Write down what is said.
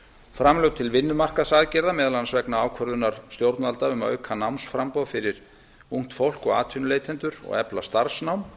framlög til vinnumarkaðsaðgerða meðal annars vegna ákvörðunar stjórnvalda um að auka námsframboð fyrir ungt fólk og atvinnuleitendur og efla starfsnám